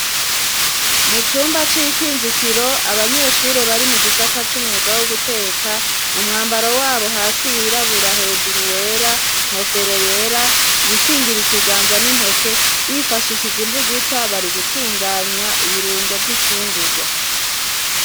Mu cumba c'ikinjikiro abanyeshure bari mu gisata c'umwuga wo guteka mu mwambaro wabo hasi wirabura hejuru wera inkofero yera ibikingira ikiganza n'intokero bifashishije imbugita bari gutunganya ibirungo vy'ifungugwa.